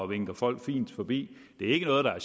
vinker folk fint forbi det er ikke noget der